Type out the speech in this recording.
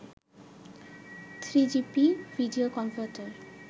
3gp video converter